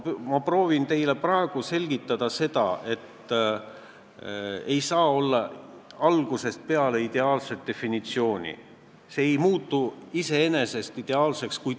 Ma proovin teile praegu selgitada, et ei saa olla algusest peale ideaalset definitsiooni, kui teil ei ole, mida välja pakkuda.